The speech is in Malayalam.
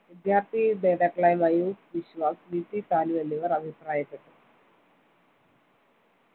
വിദ്യാർത്ഥി നേതാക്കളായ മയൂഖ് ബിശ്വാസ് VP സാനു എന്നിവർ അഭിപ്രായപ്പെട്ടു